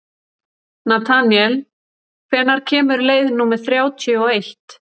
Natanael, hvenær kemur leið númer þrjátíu og eitt?